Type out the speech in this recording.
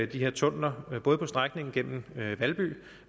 de her tunneller både på strækningen gennem valby